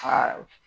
Aa